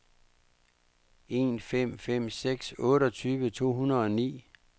en fem fem seks otteogtyve to hundrede og ni